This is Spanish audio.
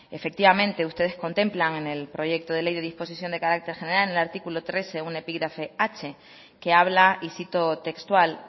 efectivamente ustedes contemplan en el proyecto de ley de disposiciones de carácter general en el artículo trece un epígrafe h que habla y cito textual